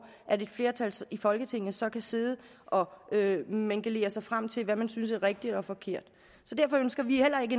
at et flertal i folketinget så kan sidde og mingelere sig frem til hvad man synes er rigtigt og forkert så derfor ønsker vi heller ikke